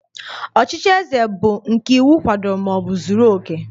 Ọchịchị eze bu nke iwu kwadoro maọbụ zuru oke